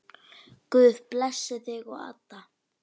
Guð blessi þig og Adda.